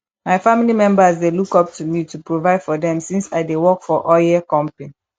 my family members dey look up to me to provide for them since i dey work for oil company